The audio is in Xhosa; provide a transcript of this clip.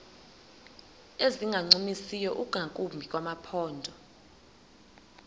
ezingancumisiyo ingakumbi kumaphondo